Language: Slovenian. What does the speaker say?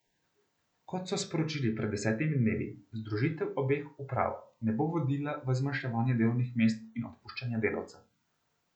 Kot so sporočili pred desetimi dnevi, združitev obeh uprav ne bo vodila v zmanjševanje delovnih mest in odpuščanje delavcev.